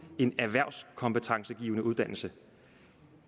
en erhvervskompetencegivende uddannelse